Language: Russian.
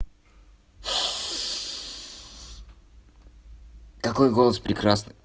какой голос прекрасный